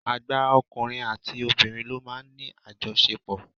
Àgbà ọkùnrin àti obìnrin ló máa ń ní àjọṣepò.